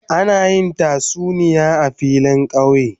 Ana yin tasuniya a filin kauye.